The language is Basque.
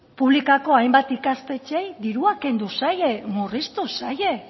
publikoko hainbat ikastetxeei dirua kendu zaie murriztu zaie